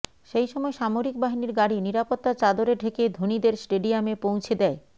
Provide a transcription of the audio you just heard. সেই সময় সামরিকবাহিনীর গাড়ি নিরাপত্তার চাদরে ঢেকে ধোনিদের স্টেডিয়ামে পৌঁছে দেয়